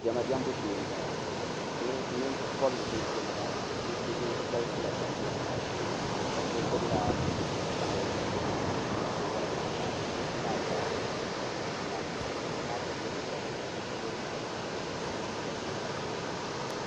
diɛma diɛmbu shee n boŋo ninvuɣu bobli bɛ diɛma maa diɛmbu shee bihi galisiya diɛma maa diɛmbu shee n ba so gbubila binshaɣu n niŋdi o ka o wori waa ka niraba maa zaa zaŋsim bɛ bini maa ni bihi maa shab yɛ liiga ʒiɛhi ka shab yɛ liiga dozima ka shab yɛ liiga ʒiɛ ka di booi booi